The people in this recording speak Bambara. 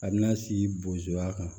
A bɛna si bozoya kan